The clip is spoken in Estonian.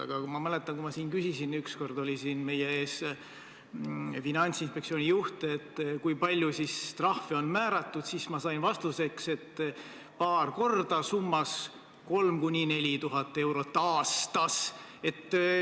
Aga ma mäletan, kui ma siin küsisin ükskord, kui meie ees oli Finantsinspektsiooni juht, et kui palju trahve on määratud, siis ma sain vastuseks, et paar korda, summas 3000–4000 eurot aastas.